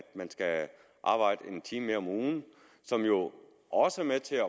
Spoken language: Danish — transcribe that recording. man skal arbejde en time mere om ugen som jo også er med til at